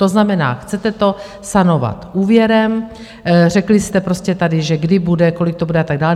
To znamená, chcete to sanovat úvěrem - řekli jste prostě tady, že kdy bude, kolik to bude a tak dále.